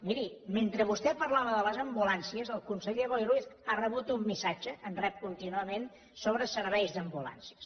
miri mentre vostè parlava de les ambulàncies el conseller boi ruiz ha rebut un missatge en rep contínuament sobre serveis d’ambulàncies